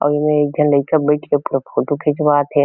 अऊ एमा एक झन लाइका बईथ के फो फोटो खिचवात हे।